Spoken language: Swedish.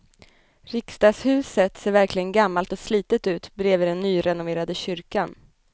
Riksdagshuset ser verkligen gammalt och slitet ut bredvid den nyrenoverade kyrkan.